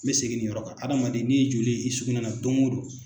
N bɛ segin nin yɔrɔ ka hadamaden n'i ye joli ye i sugunɛ na don o don